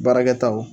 Baarakɛtaw